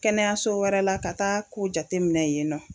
Kɛnɛyaso wɛrɛ la ka taa ko jate minɛ yen nɔ.